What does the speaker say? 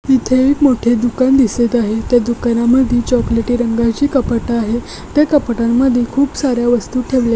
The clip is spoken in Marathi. एक मोठे दुकान दिसत आहे. त्या दुकानामध्ये चॉकलेटी रंगाची कपाट आहे. त्या कपाटामध्ये खूप सार्‍या वस्तू ठेवलेल्या आहेत.